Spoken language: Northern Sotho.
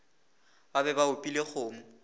ba be ba opile kgomo